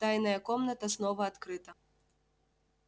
тайная комната снова открыта